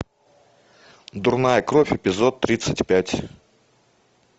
дурная кровь эпизод тридцать пять